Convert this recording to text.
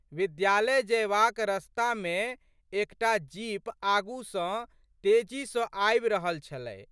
विद्यालय जयबाक रस्तामे एक टा जीप आगू स तेजी सँ आबि रहल छलै।